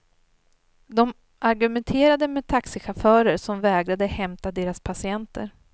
De argumenterade med taxichaufförer som vägrade hämta deras patienter.